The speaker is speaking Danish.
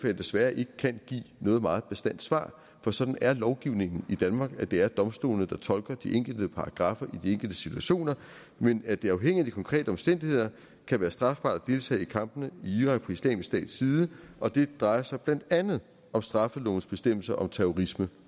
jeg desværre ikke kan give noget meget bastant svar for sådan er lovgivningen i danmark det er domstolene der tolker de enkelte paragraffer i de enkelte situationer men at det afhængigt af de konkrete omstændigheder kan være strafbart at deltage i kampene i irak på islamisk stats side og det drejer sig blandt andet om straffelovens bestemmelse om terrorisme